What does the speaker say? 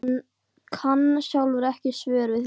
Hann kann sjálfur ekki svör við því.